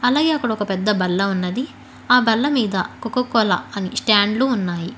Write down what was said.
అలాగే అక్కడ ఒక పెద్ద బల్ల ఉన్నది ఆ బల్ల మీద కొకో కోలా అని స్టాండ్లు ఉన్నాయి.